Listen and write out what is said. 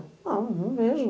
Não, não vejo.